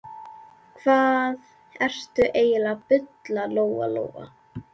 Hvað ertu eiginlega að bulla, Lóa Lóa?